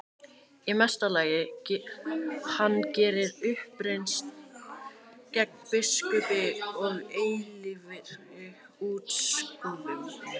Í mesta lagi hann geri uppreisn gegn biskupi og eilífri útskúfun.